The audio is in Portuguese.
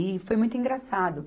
E foi muito engraçado.